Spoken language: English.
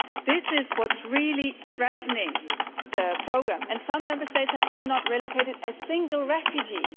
This is what is really threatening the programme, and some Member States have not relocated even a single refugee.